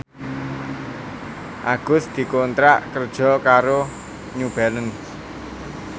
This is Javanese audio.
Agus dikontrak kerja karo New Balance